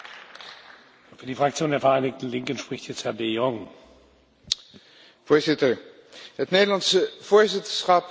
Het Nederlandse voorzitterschap kan het beste getypeerd worden als groot in het kleine en klein in het grote.